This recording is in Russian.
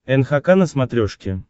нхк на смотрешке